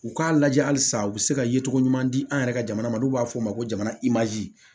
U k'a lajɛ halisa u bɛ se ka yecogo ɲuman di an yɛrɛ ka jamana ma n'u b'a fɔ o ma ko jamana im'a di